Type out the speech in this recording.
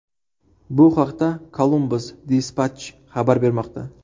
Bu haqda Columbus Dispatch xabar bermoqda .